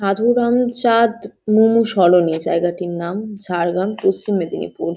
সাধু রামু চাঁদ মুমু সরণী জায়গা তীর নাম ঝাড়গ্রাম পশ্চিম মেদিনীপুর ।